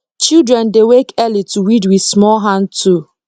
children dey wake early to weed with small hand tool